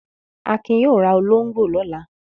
Akin yóò ra olóńgbò lọ́la.